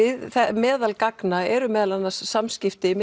meðal gagna eru meðal annars samskipti